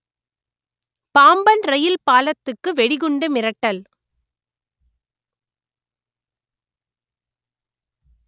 Pamban rail பாலத்துக்கு வெடிகுண்டு மிரட்டல்